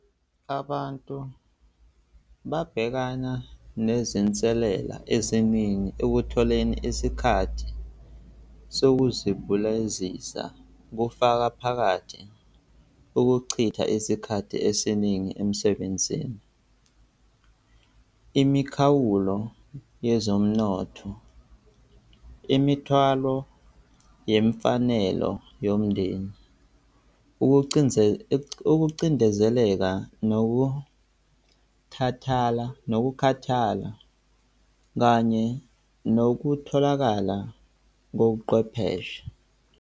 Abantu babhekana nezinselela eziningi ekutholeni isikhathi sokuzibulazisa, kufaka phakathi ukuchitha isikhathi esiningi emsebenzini. Imikhawulo yezomnotho, imithwalo yemfanelo yomndeni, ukucindezeleka nokuthathala, nokukhathala, kanye nokutholakala kobuqwepheshe.